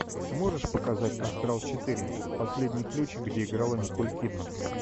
можешь показать астрал четыре последний ключ где играла николь кидман